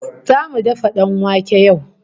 Zamu dafa danwake yau